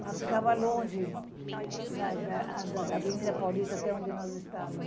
Ela ficava longe eh da da da Avenida Paulista até onde nós estavamos.